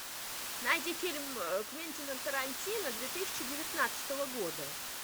найди фильм квентина тарантино две тысячи девятнадцатого года